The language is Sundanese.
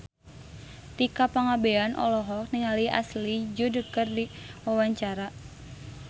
Tika Pangabean olohok ningali Ashley Judd keur diwawancara